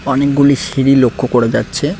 অনেকগুলি সিঁড়ি লক্ষ করা যাচ্ছে।